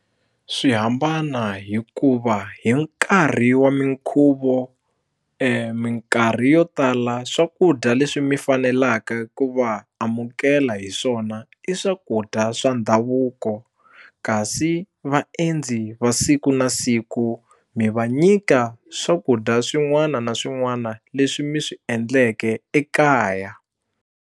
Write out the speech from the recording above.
Swi hambana hikuva hi nkarhi wa minkhuvo minkarhi yo tala swakudya leswi mi fanelaka ku va amukela hi swona i swa ku swakudya swa ndhavuko kasi vaendzi va siku na siku mi va nyika swakudya swin'wana na swin'wana leswi mi swi endleke ekaya.